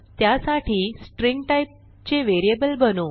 त्यासाठी string type चे variable बनवू